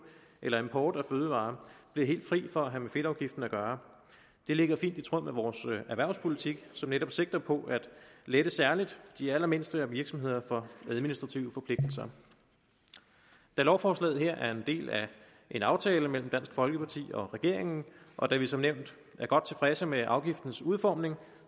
eller import af fødevarer bliver helt fri for at have med fedtafgiften at gøre det ligger fint i tråd med vores erhvervspolitik som netop sigter på at lette særlig de allermindste virksomheder for administrative forpligtelser da lovforslaget her er en del af en aftale mellem dansk folkeparti og regeringen og da vi som nævnt er godt tilfredse med afgiftens udformning